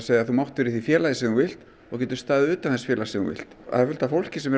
þú mátt vera í því félagi sem þú vilt og getur staðið utan þess félags sem þú vilt það er fullt af fólki sem